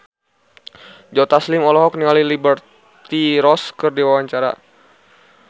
Joe Taslim olohok ningali Liberty Ross keur diwawancara